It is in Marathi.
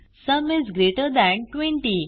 sum is greater than 20